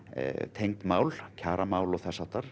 tengd mál kjaramál og þess háttar